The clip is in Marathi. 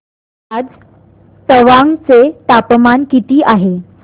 आज तवांग चे तापमान किती आहे